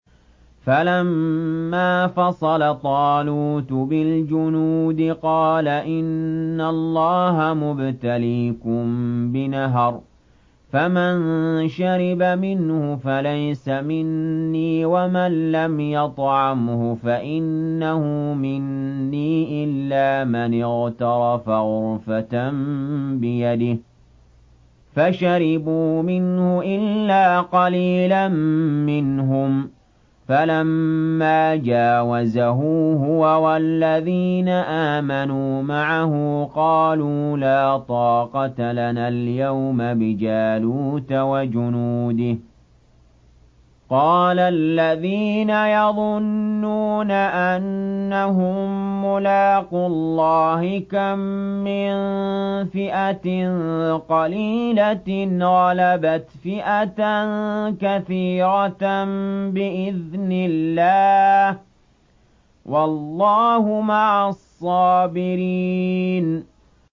فَلَمَّا فَصَلَ طَالُوتُ بِالْجُنُودِ قَالَ إِنَّ اللَّهَ مُبْتَلِيكُم بِنَهَرٍ فَمَن شَرِبَ مِنْهُ فَلَيْسَ مِنِّي وَمَن لَّمْ يَطْعَمْهُ فَإِنَّهُ مِنِّي إِلَّا مَنِ اغْتَرَفَ غُرْفَةً بِيَدِهِ ۚ فَشَرِبُوا مِنْهُ إِلَّا قَلِيلًا مِّنْهُمْ ۚ فَلَمَّا جَاوَزَهُ هُوَ وَالَّذِينَ آمَنُوا مَعَهُ قَالُوا لَا طَاقَةَ لَنَا الْيَوْمَ بِجَالُوتَ وَجُنُودِهِ ۚ قَالَ الَّذِينَ يَظُنُّونَ أَنَّهُم مُّلَاقُو اللَّهِ كَم مِّن فِئَةٍ قَلِيلَةٍ غَلَبَتْ فِئَةً كَثِيرَةً بِإِذْنِ اللَّهِ ۗ وَاللَّهُ مَعَ الصَّابِرِينَ